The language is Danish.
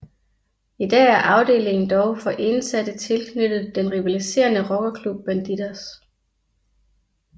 I dag er afdelingen dog for indsatte tilknyttet den rivaliserende rockerklub Bandidos